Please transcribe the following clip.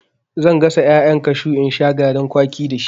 Zan gasa ƴaƴan kashu in sha garin kwaki dashi.